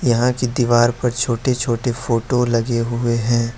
यहां के दीवार पर छोटे छोटे फोटो लगे हुए हैं।